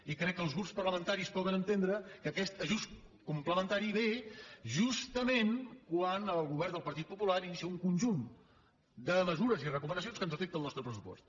i crec que els grups parlamentaris poden entendre que aquest ajust complementari ve justament quan el govern del partit popular inicia un conjunt de mesures i recomanacions que ens afecten el nostre pressupost